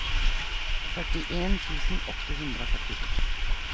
førtien tusen åtte hundre og førtito